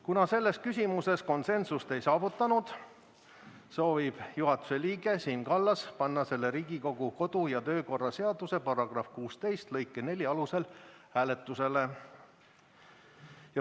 Kuna selles küsimuses konsensust ei saavutatud, soovib juhatuse liige Siim Kallas panna selle Riigikogu kodu- ja töökorra seaduse § 16 lõike 4 alusel hääletusele.